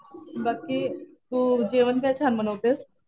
बाकी तू जेवण काय छान बनवतेस?